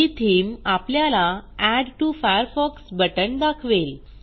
ही theme आपल्याला add to Firefox button दाखवेल